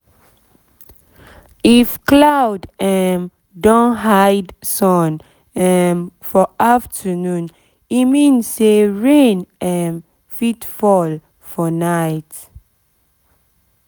if cloud um don hide sun um for afternoon e mean say rain um fit fall for night